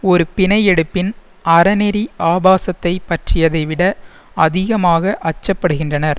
ஒரு பிணை எடுப்பின் அறநெறி ஆபாசத்தைப் பற்றியதை விட அதிகமாக அச்சப்படுகின்றனர்